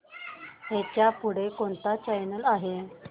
ह्याच्या पुढे कोणता चॅनल आहे